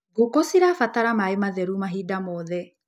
Ngũkũ cirabatara maĩ matheru mahinda mothe.